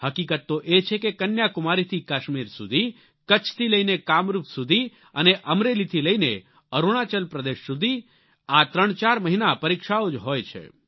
હકીકત તો એ છે કે કન્યાકુમારીથી કાશ્મીર સુધી કચ્છથી લઈને કામરૂપ સુધી અને અમરેલીથી લઈને અરૂણાચલ પ્રદેશ સુધી આ ત્રણચાર મહિના પરીક્ષાઓ જ હોય છે